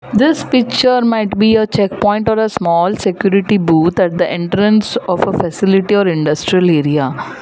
This picture might be a check point on a small security both as the entrance of a facility are industrial area.